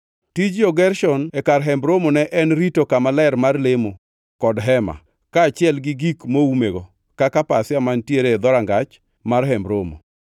Tij jo-Gershon e Kar Hemb Romo ne en rito Kama Ler mar Lemo kod hema, kaachiel gi gik moumego, kaka pasia mantiere e dhorangach mar Hemb Romo.